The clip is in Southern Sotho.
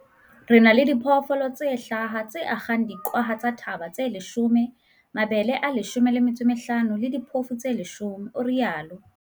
"Re na le diphoofolo tse hlaha, tse akgang diqwaha tsa thaba tse 10, mabele a 15 le diphofu tse 10," o itsalo.